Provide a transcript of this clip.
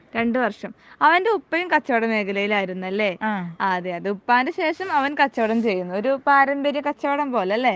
രണ്ട് വർഷം അവൻ്റെ ഉപ്പയും കച്ചവട മേഖലയിൽ ആയിരുന്നു അല്ലെ അഹ് അത് ഉപ്പാൻ്റെ ശേഷം അവൻ കച്ചവടം ചെയ്യുന്നു ഒരു പാരമ്പര്യ കച്ചവടം പോലെ അല്ലെ